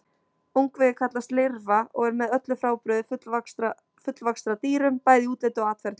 Ungviðið kallast lirfa og er með öllu frábrugðið fullvaxta dýrum, bæði í útliti og atferli.